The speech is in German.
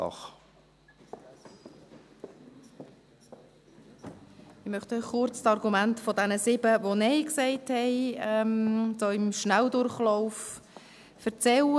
Ich möchte Ihnen kurz, im Schnelldurchlauf, von den Argumenten jener sieben, welche Nein gesagt haben, erzählen.